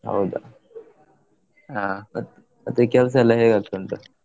ಹೌದಾ ಹಾ. ಮತ್~ ಮತ್ತೆ ಕೆಲ್ಸ ಎಲ್ಲಾ ಹೇಗೆ ಆಗ್ತಾ ಉಂಟು?